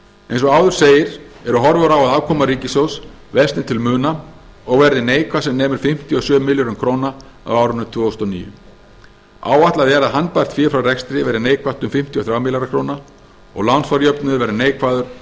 eins og áður segir eru horfur á að afkoma ríkissjóðs versni til muna og verði neikvæð sem nemur um fimmtíu og sjö milljörðum króna á árinu tvö þúsund og níu áætlað er að handbært fé frá rekstri verði neikvætt um fimmtíu og þrjá milljarða króna og lánsfjárjöfnuður verði neikvæður um